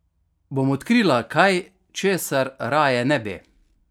Bom odkrila kaj, česar raje ne bi?